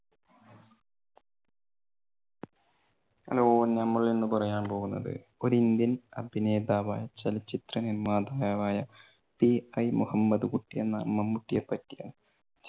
hello നമ്മൾ ഇന്ന് പറയാൻ പോകുന്നത് ഒരു ഇന്ത്യൻ അഭിനേതാവായ ചലച്ചിത്ര നിർമാതാവായ പിഐ മുഹമ്മദ്‌കുട്ടി എന്ന മമ്മൂട്ടിയെ പറ്റിയാണ്.